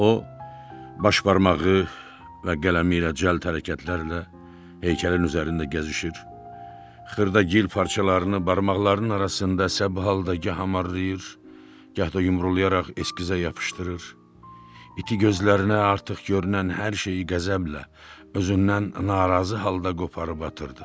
O baş barmağı və qələmi ilə cəld hərəkətlərlə heykəlin üzərində gəzişir, xırda gil parçalarını barmaqlarının arasında səbbalda gah amarlayır, gah da yumrulayaraq eskizə yapışdırır, iti gözlərinə artıq görünən hər şeyi qəzəblə özündən narazı halda qoparıb atırdı.